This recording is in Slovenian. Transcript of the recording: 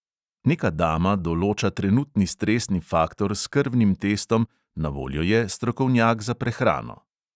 Neka dama določa trenutni stresni faktor s krvnim testom, na voljo je strokovnjak za prehrano.